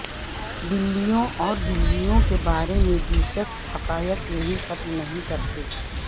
بلیوں اور بلیوں کے بارے میں دلچسپ حقائق یہیں ختم نہیں کرتے